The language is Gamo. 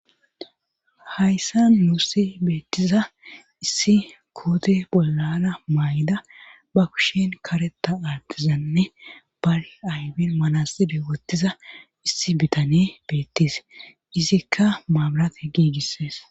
hayssa nussi beettiza issi koote bollana may7da ba kushen kareta aattizanne bar aybin manaxire wottiza issi bitane beettes izikka maabirate giigissees